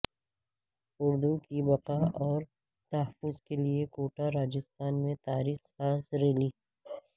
اردو کی بقا اور تحفظ کے لیے کوٹہ راجستھان میں تاریخ ساز ریلی